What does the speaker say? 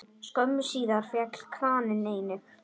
Skömmu síðar féll kraninn einnig.